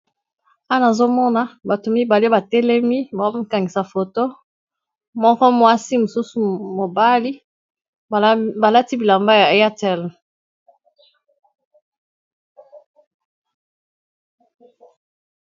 Wana azomona bato mibale batelemi bamakangisa foto, moko mwasi mosusu mobali balati bilamba ya yatl.